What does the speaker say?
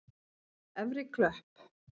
Efri Klöpp